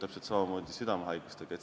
Täpselt samamoodi on südamehaigustega.